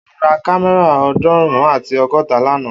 O ra kámẹ́rà ọdunrun ati ọgọta lana